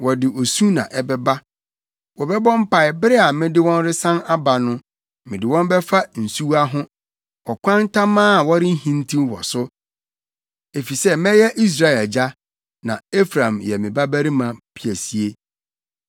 Wɔde osu na ɛbɛba; wɔbɛbɔ mpae bere a mede wɔn resan aba no. Mede wɔn bɛfa nsuwa ho; ɔkwan tamaa a wɔrenhintiw wɔ so, efisɛ mɛyɛ Israel agya, na Efraim yɛ me babarima piesie.